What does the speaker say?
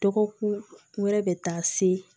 Dɔgɔkun wɛrɛ bɛ taa se